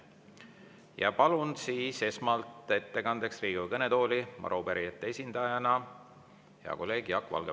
Ja palun esmalt ettekandeks Riigikogu kõnetooli arupärijate esindajana hea kolleegi Jaak Valge.